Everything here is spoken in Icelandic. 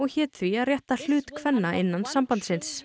hét því að rétta hlut kvenna innan sambandsins